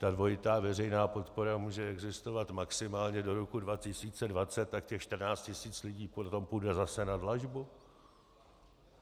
Ta dvojitá veřejná podpora může existovat maximálně do roku 2020, tak těch 14 tisíc lidí potom půjde zase na dlažbu?